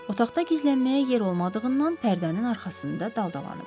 Otaqda gizlənməyə yer olmadığından pərdənin arxasında daldalanıb.